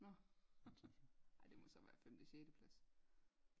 Nå ej det må så være femte sjette plads